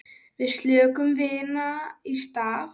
Við söknum vinar í stað.